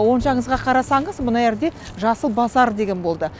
оң жағыңызға қарасаңыз мына жерде жасыл базар деген болды